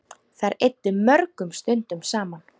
Þær eyddu mörgum stundum saman.